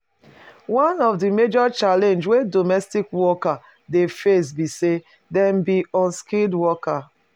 One of di major challenge wey domestic workers dey face be sey dem be unskilled worker